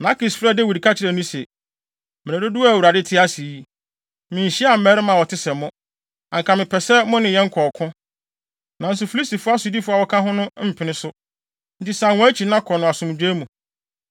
Na Akis frɛɛ Dawid ka kyerɛɛ no se, “Mmere dodow a Awurade te ase yi, minhyiaa mmarima a wɔte sɛ mo, anka mepɛ sɛ mo ne yɛn kɔ ɔko, nanso Filistifo asodifo a wɔaka no mpene so.